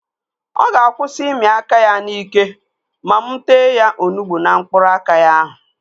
Ọ ga-akwụsị ịmị aka ya n'ike ma mụ tee ya onugbu na mkpụrụ aka ya ahụ